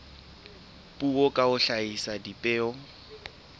puo ka ho hlahisa dipheo